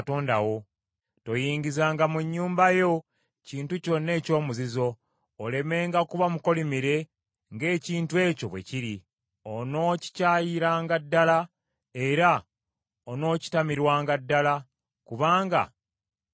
Toyingizanga mu nnyumba yo kintu kyonna ekyomuzizo, olemenga kuba mukolimire ng’ekintu ekyo bwe kiri. Onookikyayiranga ddala era onookitamirwanga ddala, kubanga kyakolimirwa.